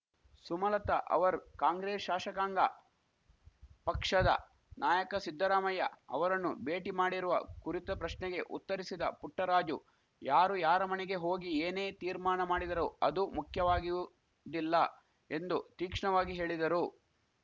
ಸುಮಲತಾ ಅವರು ಕಾಂಗ್ರೆಸ್‌ ಶಾಶಕಾಂಗ ಪಕ್ಷದ ನಾಯಕ ಸಿದ್ದರಾಮಯ್ಯ ಅವರನ್ನು ಭೇಟಿ ಮಾಡಿರುವ ಕುರಿತ ಪ್ರಶ್ನೆಗೆ ಉತ್ತರಿಸಿದ ಪುಟ್ಟರಾಜು ಯಾರು ಯಾರ ಮಣೆಗೆ ಹೋಗಿ ಏನೇ ತೀರ್ಮಾಣ ಮಾಡಿದರೂ ಅದು ಮುಖ್ಯವಾಗಿಯುದಿಲ್ಲ ಎಂದು ತೀಕ್ಷ್ಣವಾಗಿ ಹೇಳಿದರು